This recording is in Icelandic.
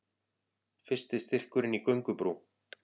Fyrsti styrkurinn í göngubrú